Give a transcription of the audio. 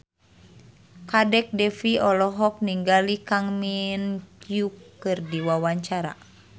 Kadek Devi olohok ningali Kang Min Hyuk keur diwawancara